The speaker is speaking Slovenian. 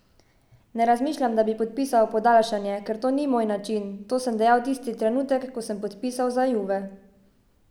Ne razmišljam, da bi podpisal podaljšanje, ker to ni moj način, to sem dejal tisti trenutek, ko sem podpisal za Juve.